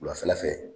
Wulafɛla fɛ